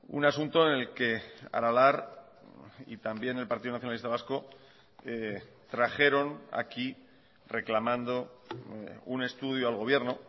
un asunto en el que aralar y también el partido nacionalista vasco trajeron aquí reclamando un estudio al gobierno